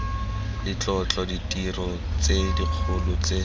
letlotlo ditiro tse dikgolo tse